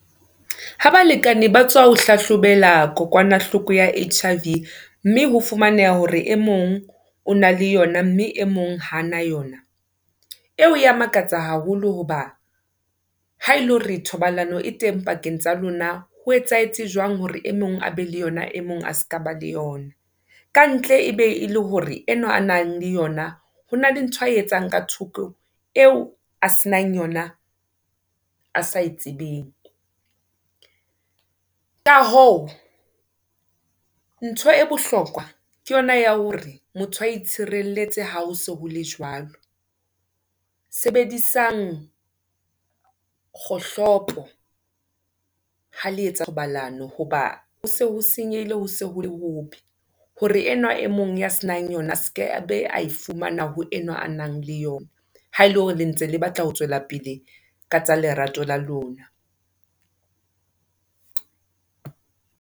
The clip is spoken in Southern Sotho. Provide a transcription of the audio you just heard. Ha balekane ba tswa ho hlahlobela kokwanahloko ya H_I_V mme ho fumaneha hore e mong o na le yona mme e mong hana yona. Eo ya makatsa haholo hoba, ha ele hore thobalano e teng pakeng tsa lona ho etsahetse jwang hore e mong a be le yona e mong a ska ba le yona? Kantle e be e le hore enwa a nang le yona hona le ntho a e etsang ka thoko, eo a se nang yona a sa e tsebeng. Ka hoo, ntho e bohlokwa ke yona ya hore motho a itshireletse ha ho se hole jwalo. Sebedisang, kgohlopo ha le etsa thobalano hoba ho se ho senyehile ho se ho le hobe, hore enwa e mong ya se nang yona a seke a be a e fumana ho enwa a nang le yona ha ele hore le ntse le batla ho tswela pele ka tsa lerato la lona.